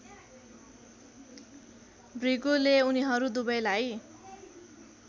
भृगुले उनीहरू दुबैलाई